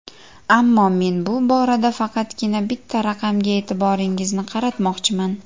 Ammo men bu borada faqatgina bitta raqamga e’tiboringizni qaratmoqchiman.